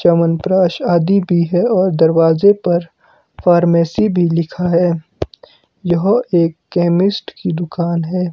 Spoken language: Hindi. चवनप्राश आदी बि है और दरवाजे पर फार्मेसी भी लिखा है यह एक केमिस्ट की दुकान है।